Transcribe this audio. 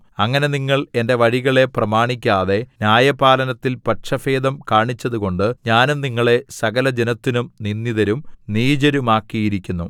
അങ്ങനെ നിങ്ങൾ എന്റെ വഴികളെ പ്രമാണിക്കാതെ ന്യായപാലനത്തിൽ പക്ഷഭേദം കാണിച്ചതുകൊണ്ട് ഞാനും നിങ്ങളെ സകലജനത്തിനും നിന്ദിതരും നീചരുമാക്കിയിരിക്കുന്നു